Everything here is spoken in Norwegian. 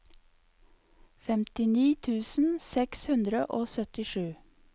femtini tusen seks hundre og syttisju